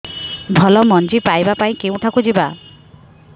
ଭଲ ମଞ୍ଜି ପାଇବା ପାଇଁ କେଉଁଠାକୁ ଯିବା